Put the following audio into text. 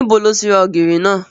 Níbo lo ti ra ògìrì náà?